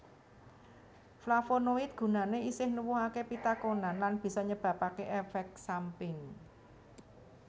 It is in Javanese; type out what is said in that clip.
Flavonoid gunane isih nuwuhake pitakonan lan bisa nyebabake efek samping